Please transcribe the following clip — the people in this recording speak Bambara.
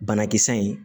Banakisɛ in